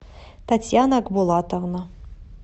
татьяна акбулатовна